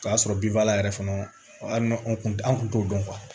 O y'a sɔrɔ binfagalan yɛrɛ fana hali n'an tun an tun t'o dɔn